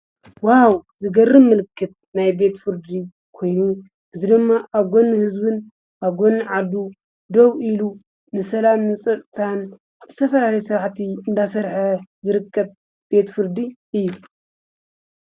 ዋው ዝገርም ምልክት! ናይ ቤት ፍርዲ ኾይኑ እዚ ደማ ኣብ ጎኒ ህዝብን ኣብ ጎኒ ዓዱ ደው ኢሉ ንሰላምን ንፀጥታን ዝተፈላለየ ስራሕቲ እናሰርሐ ዝርከብ ቤት ፍርዲ እዩ።